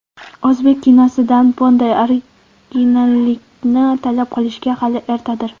O‘zbek kinosidan bunday originallikni talab qilishga hali ertadir.